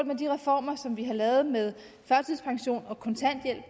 med de reformer som vi har lavet med førtidspension og kontanthjælp